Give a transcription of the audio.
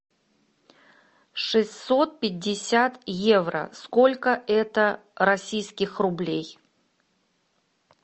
шестьсот пятьдесят евро сколько это российских рублей